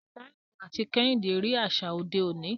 Taiwo àti Kehinde rí àṣà òde òní.